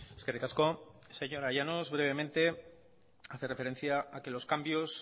eskerrik asko señora llanos brevemente hace referencia a que los cambios